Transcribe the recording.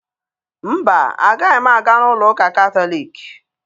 Mba, agaghị m aga n'ụlọ ụka Katọliki.